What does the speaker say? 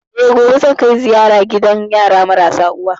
Eh, gobe zan kai ziyara gidan yara marasa uwa